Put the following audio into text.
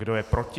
Kdo je proti?